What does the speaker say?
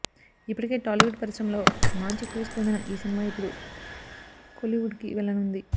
ఇప్పటికే టాలీవుడ్ పరిశ్రమలో మాంచి క్రేజ్ పొందిన ఈ సినిమా ఇప్పుడు కోలీవుడ్ కి వెళ్లనున్నది